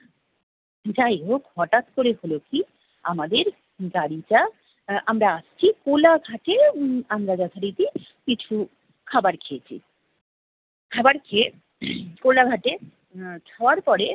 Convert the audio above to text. যাইহোক হঠাৎ করে হলো কি আমাদের গাড়িটা আহ আমরা আসছি কোলাঘাটে উম আমরা যথারীতি কিছু খাবার খেয়েছি। খাবার খেয়ে কোলাঘাটে আহ শোয়ার পরে